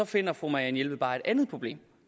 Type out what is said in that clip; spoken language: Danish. finder fru marianne jelved bare et andet problem